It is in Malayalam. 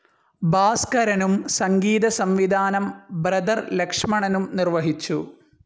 ഭാസ്കരനും സംഗീതസംവിധാനം ബ്രദർ ലക്ഷ്മണനും നിർവഹിച്ചു.